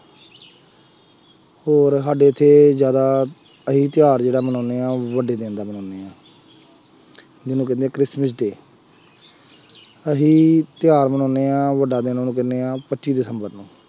ਹੋਰ ਸਾਡੇ ਇੱਥੇ ਜ਼ਿਆਦਾ ਅਸੀਂ ਤਿਉਹਾਰ ਜਿਹੜਾ ਮਨਾਉਂਦੇ ਹਾਂ ਉਹ ਵੱਡੀ ਦਿਨ ਦਾ ਮਨਾਉਂਦੇ ਹਾਂ ਜਿਹਨੂੰ ਕਹਿੰਦੇ ਆ ਕ੍ਰਿਸ਼ਮਿਸ ਡੇਅ, ਅਸੀਂ ਤਿਉਹਾਰ ਮਨਾਉਂਦੇ ਹਾਂ, ਵੱਡਾ ਦਿਨ ਉਹਨੂੰ ਕਹਿੰਦੇ ਹਾਂ, ਪੱਚੀ ਦਿਸੰਬਰ ਨੂੰ,